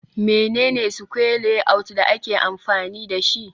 Mene ne square layout da ake amfani dashi